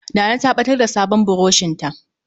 Nana ta ɓatar da sabon burushinta.